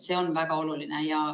See on väga oluline.